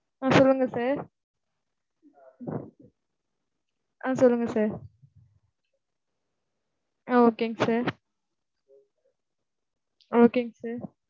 ஆஹ் சொல்லுங்க sir. ஆஹ் சொல்லுங்க sir. ஆஹ் okay ங்க sir. Okay ங்க sir.